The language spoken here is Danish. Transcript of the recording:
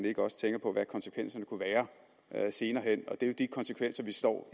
ikke også tænker på hvad konsekvenserne kunne være senere hen og det er jo de konsekvenser vi står